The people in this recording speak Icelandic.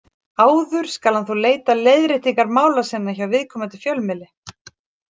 Áður skal hann þó leita leiðréttingar mála sinna hjá viðkomandi fjölmiðli.